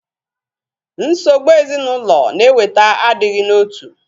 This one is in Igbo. Nsogbụ ezinaụlọ na-eweta agighi n'otu